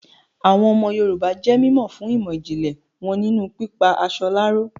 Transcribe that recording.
Àwọn ọmọ Yorùbá jé mímọ̀ fún ìmọ̀ ìjìnlẹ̀ wọn nínú pípa aṣọ láró